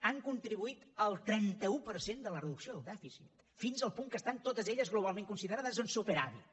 han contribuït en el trenta un per cent de la reducció del dèficit fins al punt que estan totes elles globalment considerades en superàvit